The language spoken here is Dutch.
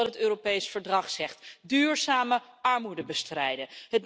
Dat is ook wat het Europees Verdrag zegt duurzame armoedebestrijding.